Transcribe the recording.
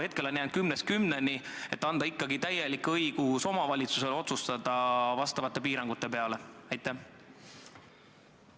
Hetkel on jäänud nii, et kümnest kümneni, aga kas ei võiks anda omavalitsusele ikkagi täieliku õiguse nende piirangute üle otsustada?